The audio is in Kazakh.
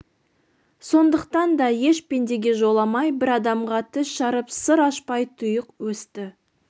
сондықтан да еш пендеге жоламай бір адамға тіс жарып сыр ашпай тұйық өсті